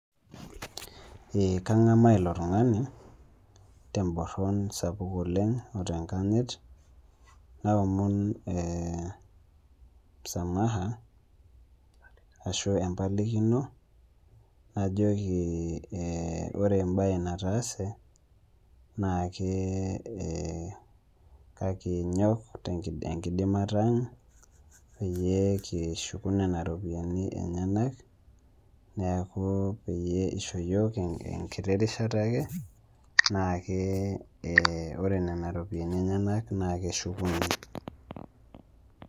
Kang'amaa ilo tung'ani temboron sapuk oleng o tenkanyit, naomon msamaha ashu empalakino, najoki ore embae nataase naake kinyok tenkidimata peyie kishuku nena ropiani enyena, neaku peyie eishoo yook enkiti rishata ake, naake ore nena ropiani enyena naake eshukuni.